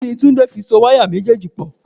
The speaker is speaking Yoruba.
Kíni Túndé fi so wáyà méjèèjì pò?